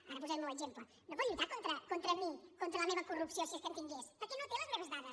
ara posaré el meu exemple no pot lluitar contra mi contra la meva corrupció si és que en tingués perquè no té les meves dades